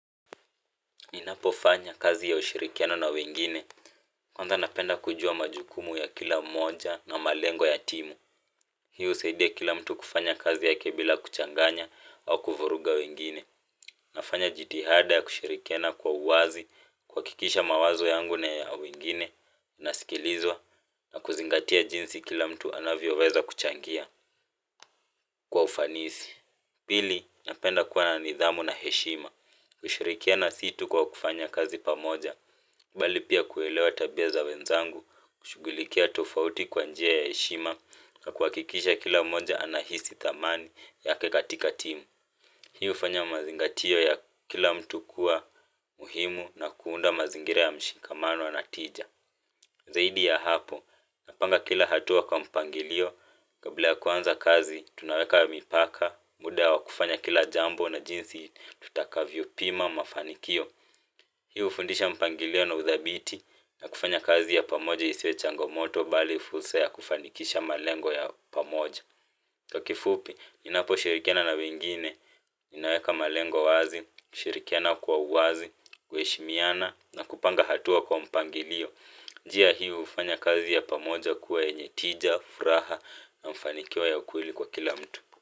Inapofanya kazi ya ushirikiano na wengine, kwanza napenda kujua majukumu ya kila mmoja na malengo ya timu. Hiu husaidia kila mtu kufanya kazi yake bila kuchanganya au kuvuruga wengine. Nafanya jitihada ya kushirikiana kwa uwazi, kuhakikisha mawazo yangu na ya wengine, yanasikilizwa, na kuzingatia jinsi kila mtu anavyoweza kuchangia kwa ufanisi. Pili, napenda kuwa na nidhamu na heshima, kushirikiana si tu kwa kufanya kazi pamoja, kubali pia kuelewa tabia za wenzangu, kushughulikia tofauti kwa njia ya heshima na kuhakikisha kila mmoja anahisi thamani yake katika timu. Hii hufanya mazingatio ya kila mtu kuwa muhimu na kuunda mazingira ya mshikamano wa na tija. Zaidi ya hapo napanga kila hatua kwa mpangilio kabla ya kuanza kazi tunaeka mipaka muda wa kufanya kila jambo na jinsi ya tutakavyopima mafanikio hii hufundisha mpangilio na uthabiti, na kufanya kazi ya pamoja isiwe changomoto, bali fursa ya kufanikisha malengo ya pamoja. Kwa kifupi, inaposhirikiana na wengine, inaweka malengo wazi, kushirikiana kwa uwazi, kuheshimiana, na kupanga hatua kwa mpangilio. Njia hii hufanya kazi ya pamoja kuwa yenye tija, furaha na ufanikio ya kweli kwa kila mtu.